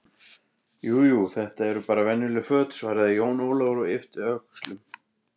Jú, jú, þetta eru bara venjuleg föt, svaraði Jón Ólafur og yppti öxlum.